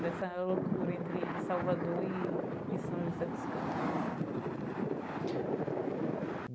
nessa loucura entre Salvador e e São José dos Campos assim.